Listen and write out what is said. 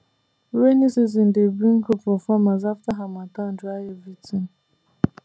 rainy season dey bring hope for farmers after harmattan dry everything